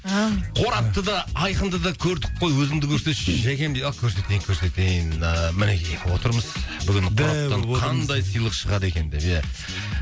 аумин қорапты да айқынды да көрдік қой өзіңді де көрсетші жәкем дейді ал көрсетейін көрсетейін да мінекей отырмыз бүгін қораптан қандай сыйлық шығады екен деп ия